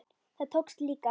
Það tókst líka.